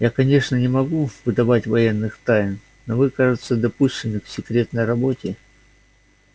я конечно не могу выдавать военных тайн но вы кажется допущены к секретной работе